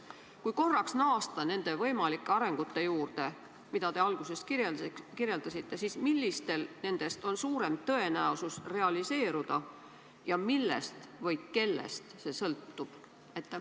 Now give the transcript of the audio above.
Kui korraks naasta nende võimalike arengute juurde, mida te alguses kirjeldasite, siis millistel nendest on suurem tõenäosus realiseeruda ja millest või kellest see sõltub?